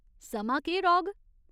समां केह् रौह्ग?